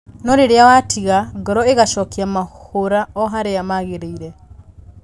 No rĩrĩa watiga, ngoro ĩgacokia mahũra o-harĩa magĩrĩire